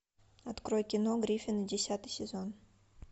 открой кино гриффины десятый сезон